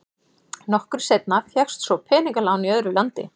Nokkru seinna fékkst svo peningalán í öðru landi.